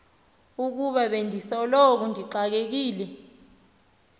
ukuba bendisoloko ndixakekile